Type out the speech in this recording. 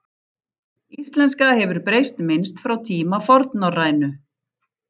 Íslenska hefur breyst minnst frá tíma fornnorrænu.